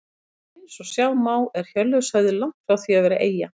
Eins og sjá má er Hjörleifshöfði langt frá því að vera eyja.